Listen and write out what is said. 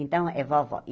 Então, é vovó.